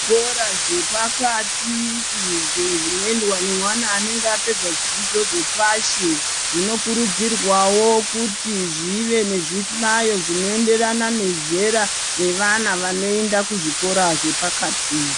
Zvikora zvepakati izvo zvinoendwa nemwana anenga apedza zvidzidzo zvepashi, zvinokurudzirwawo kuti zvive nezvihlayo zvino enderana nezera revana vanoenda kuzvikora zvepakati.